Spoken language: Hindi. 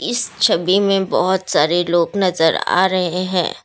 इस छवि में बहुत सारे लोग नजर आ रहे हैं।